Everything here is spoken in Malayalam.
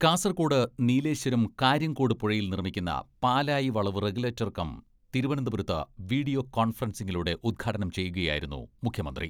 കാസർകോട് നീലേശ്വരം കാര്യംകോട് പുഴയിൽ നിർമ്മിക്കുന്ന പാലായി വളവ് റെഗുലേറ്റർ കം തിരുവനന്തപുരത്ത് വീഡിയോ കോൺഫറൻസിങ്ങിലൂടെ ഉദ്ഘാടനം ചെയ്യുകയായിരുന്നു മുഖ്യമന്ത്രി.